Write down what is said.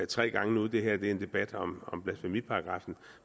tre gange nu det her er en debat om om blasfemiparagraffen og